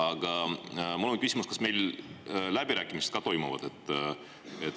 Aga mul on küsimus: kas meil läbirääkimised ka toimuvad?